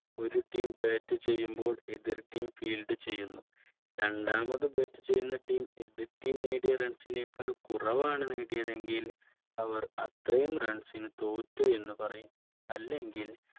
ഒരു Team bat ചെയ്യുമ്പോൾ എതിർ TeamField ചെയ്യുന്നു രണ്ടാമത് Bat ചെയ്യുന്ന Team എതിർ Team നേടിയ റൺസിനേക്കാള്‍ കുറവാണ് നേടിയത് എങ്കിൽ അവർ അത്രയും Runs ന് തോറ്റു എന്ന് പറയും അല്ലെങ്കിൽ